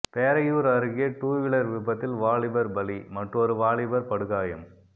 பேரையூர் அருகே டூவீலர் விபத்தில் வாலிபர் பலி மற்றொரு வாலிபர் படுகாயம்